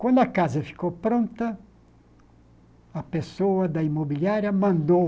Quando a casa ficou pronta, a pessoa da imobiliária mandou